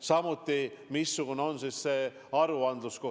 Samuti see, missugune on aruandlus.